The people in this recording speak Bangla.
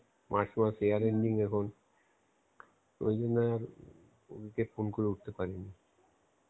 March মাস year ending এখন ঐজন্যে ওকে phone করে উঠতে পারিনি.